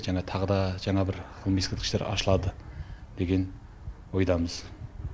жаңа тағы да жаңа бір ғылыми ескерткіштер ашылады деген ойдамыз